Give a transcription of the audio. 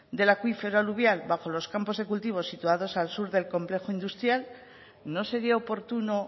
del acuífero aluvial bajo los campos de cultivo situados al sur del complejo industrial no sería oportuno